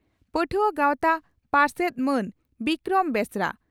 ᱯᱟᱹᱴᱷᱩᱣᱟᱹ ᱜᱟᱣᱛᱟ ᱯᱟᱨᱥᱮᱛ ᱢᱟᱱ ᱵᱤᱠᱨᱚᱢ ᱵᱮᱥᱨᱟ